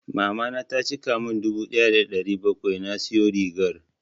Mamana ta cika mun dubu ɗaya da ɗari bakwai na siyo rigar.